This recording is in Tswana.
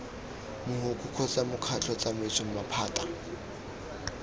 mogokgo kgotsa mokgatlho tsamaiso maphata